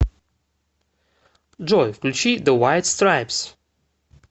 джой включи зе вайт страйпс